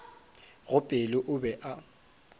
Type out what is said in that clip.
go pelo o be a